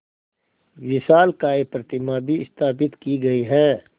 विशालकाय प्रतिमा भी स्थापित की गई है